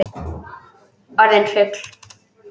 Orðin fugl.